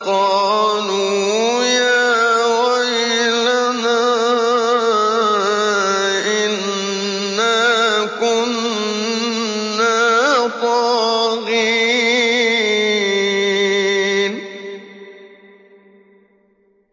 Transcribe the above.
قَالُوا يَا وَيْلَنَا إِنَّا كُنَّا طَاغِينَ